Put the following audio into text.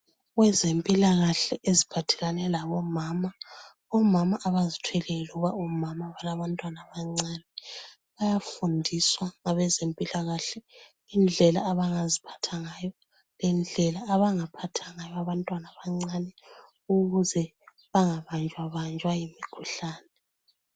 Kwezempilakahle eziphathelane labomama. Omama abazithweleyo, loba omama abalabantwana abancane, bayafundiswa ngabezempilakahle, indlela abangaziphatha ngayo, lendlela abangaphatha ngayo abantwana abancane, ukuze bangabanjwabanjwa yimikhuhlane.